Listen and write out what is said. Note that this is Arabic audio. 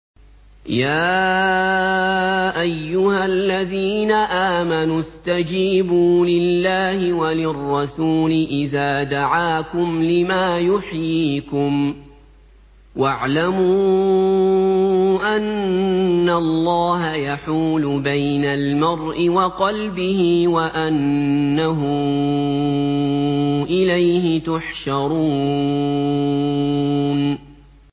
يَا أَيُّهَا الَّذِينَ آمَنُوا اسْتَجِيبُوا لِلَّهِ وَلِلرَّسُولِ إِذَا دَعَاكُمْ لِمَا يُحْيِيكُمْ ۖ وَاعْلَمُوا أَنَّ اللَّهَ يَحُولُ بَيْنَ الْمَرْءِ وَقَلْبِهِ وَأَنَّهُ إِلَيْهِ تُحْشَرُونَ